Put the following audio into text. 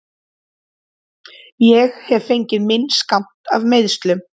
Ég hef fengið minn skammt af meiðslum.